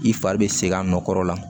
I fari bɛ segin a nɔ kɔrɔ la